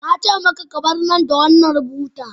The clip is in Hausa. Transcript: Na ce maka, ka bar nan da wannan buta.